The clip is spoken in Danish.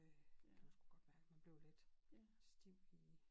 Øh kan man sgu godt mærke man bliver lidt ja stiv